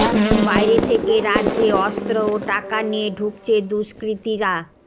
বাইরে থেকে রাজ্যে অস্ত্র ও টাকা নিয়ে ঢুকছে দুষ্কৃতীরা